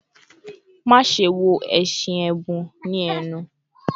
"Maṣe wo ẹṣin ẹbun ni ẹnu